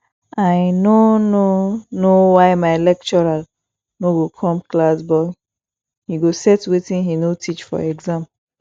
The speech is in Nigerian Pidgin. i no no know why my lecturer no go come class but he go set wetin he no teach for exam